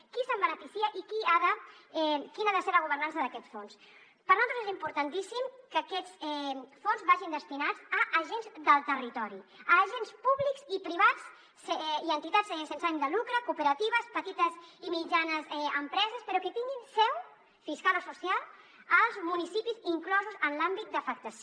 qui se’n beneficia i quina ha de ser la governança d’aquest fons per nosaltres és importantíssim que aquests fons vagin destinats a agents del territori a agents públics i privats i a entitats sense ànim de lucre cooperatives petites i mitjanes empreses però que tinguin seu fiscal o social als municipis inclosos en l’àmbit d’afectació